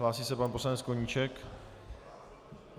Hlásí se pan poslanec Koníček.